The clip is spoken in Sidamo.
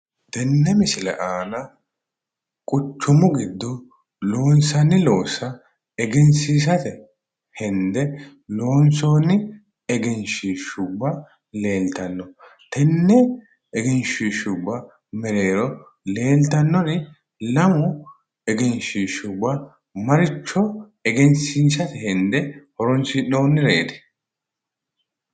Tenne misile aana quchumu giddo loonsanni loossa egensiisate hende loonsoonni egenshiishubba leeltanno. Tenne egenshiishubba mereero leeltannori lamu egenshiishubba maricho egensiisate hende horonsi'nonnireeti?